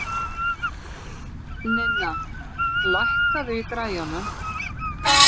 Ninna, lækkaðu í græjunum.